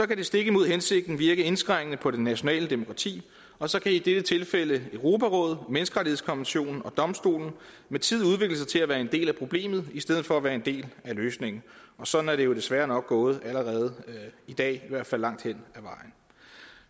kan det stik imod hensigten virke indskrænkende på det nationale demokrati og så kan i dette tilfælde europarådet menneskerettighedskonventionen og domstolen med tiden udvikle sig til at være en del af problemet i stedet for at være en del af løsningen og sådan er det jo desværre nok gået allerede i dag i hvert fald langt hen ad vejen